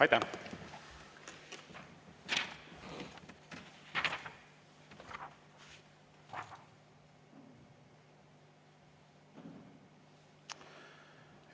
Aitäh!